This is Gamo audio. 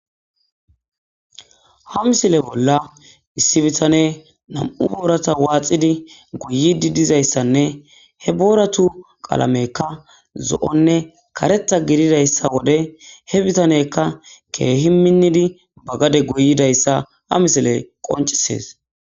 Ha misile bolla issi bitaney nam'u boorata waxid goyidi dizaysanne he booratu qalameyka zo'onne karetha gidizaysa wode, he bitaneyka Keehi minidi gade goyidaysa ha misiley qoncisesi.